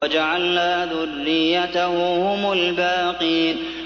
وَجَعَلْنَا ذُرِّيَّتَهُ هُمُ الْبَاقِينَ